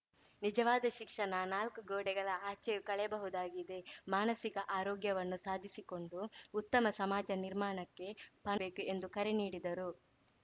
ನಿಜವಾದ ಶಿಕ್ಷಣ ನಾಲ್ಕು ಗೋಡೆಗಳ ಆಚೆಯೂ ಕಲೆಯಬಹುದಾಗಿದೆ ಮಾನಸಿಕ ಆರೋಗ್ಯವನ್ನು ಸಾಧಿಸಿಕೊಂಡು ಉತ್ತಮ ಸಮಾಜ ನಿರ್ಮಾಣಕ್ಕೆ ಕು ಎಂದು ಕರೆ ನೀಡಿದರು